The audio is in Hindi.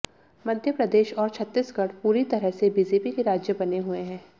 मध्यप्रदेश और छत्तीसगढ़ पूरी तरह से बीजेपी के राज्य बने हुए हैं